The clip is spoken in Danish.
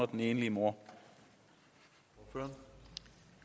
den enlige mor på